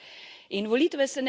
Žal jih ni več v dvorani.